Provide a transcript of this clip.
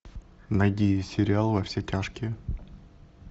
найди сериал во все тяжкие